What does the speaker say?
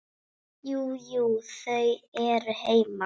Jú, jú. þau eru heima.